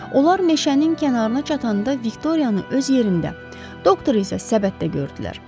Onlar meşənin kənarına çatanda Viktoriyanı öz yerində, doktor isə səbətdə gördülər.